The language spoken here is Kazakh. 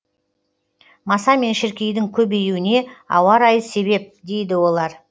маса мен шіркейдің көбеюіне ауа райы себеп дейді олар